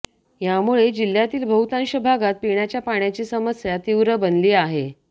यामुळे जिल्हय़ातील बहुतांश भागात पिण्याच्या पाण्याची समस्या तीव्र बनली आहे